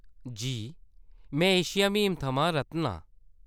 जी। में एशिया म्हीम थमां रतन आं।